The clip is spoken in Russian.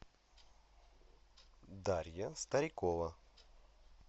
дарья старикова